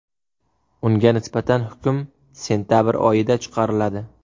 Unga nisbatan hukm sentabr oyida chiqariladi.